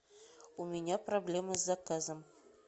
у меня проблемы с заказом